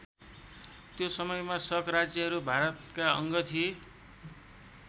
त्यो समयमा शक राज्यहरू भारतका अङ्ग थिए।